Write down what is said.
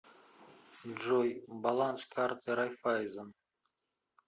джой баланс карты райффайзен